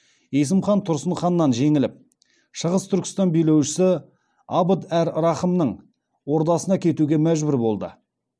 есім хан тұрсын ханнан жеңіліп шығыс түркістан билеушісі абд әр рахымның ордасына кетуге мәжбүр болды